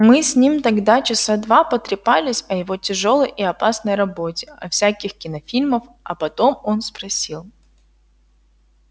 мы с ним тогда часа два протрепались о его тяжёлой и опасной работе о всяких кинофильмах а потом он спросил